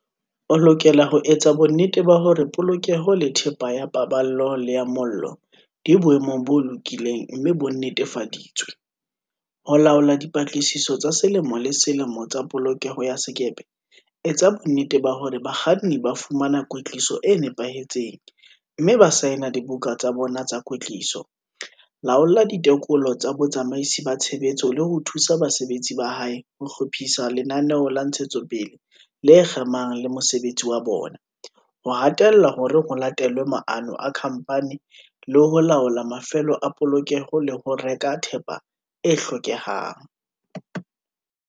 O lokela ho etsa bonnete ba hore polokeho le thepa ya pa ballo le ya mollo di boemong bo lokileng mme bo nnetefa ditswe, ho laola dipatlisiso tsa selemo le selemo tsa polokeho ya sekepe, etsa bonnete ba hore bakganni ba fumana kwetliso e nepahetseng mme ba saena dibuka tsa bona tsa kwetliso, laola ditekolo tsa botsamaisi ba tshebetso le ho thusa basebetsi ba hae ho hlo phisa lenaneo la ntshetsopele le kgemang le mosebetsi wa bona, ho hatella hore ho late lwe maano a khamphani le ho laola mafelo a polokelo le ho reka thepa e hlokehang.